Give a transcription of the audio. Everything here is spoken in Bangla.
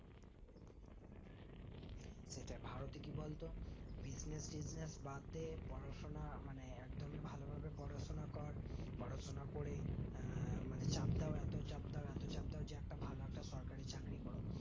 সেটাই ভারতে কি বলতো business-tusiness বাদে পড়াশোনা মানে একদমই ভালোভাবে পড়াশোনা কর পড়াশোনা করে আহ মানে চাপড়াও এতো চাপ দাও এতচাপ দাও যে একটা ভালো একটা সরকারি চাকরি করো